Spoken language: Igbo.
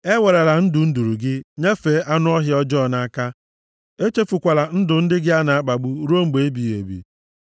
Ewerala ndụ nduru gị nyefee anụ ọhịa ọjọọ nʼaka. Echefukwala ndụ ndị gị a na-akpagbu ruo mgbe ebighị ebi.